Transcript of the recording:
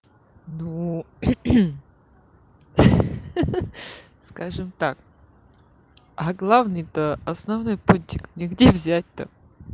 ну хи-хи скажем так а главный-то основной пунктик мне где взять-то